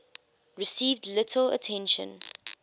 received little attention